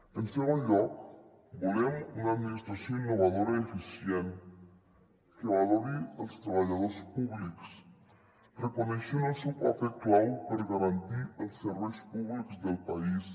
en segon lloc volem una administració innovadora i eficient que valori els treballadors públics reconeixent el seu paper clau per garantir els serveis públics del país